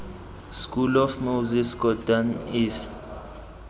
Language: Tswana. school of moses kotane east